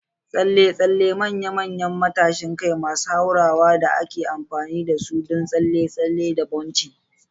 tsalle-tsalle manya-manyan matashin kai masu hurawa da ake amfani da su don tsalle-tsalle da bouncing.